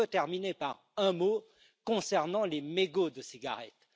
Je veux terminer par un mot concernant les mégots de cigarettes.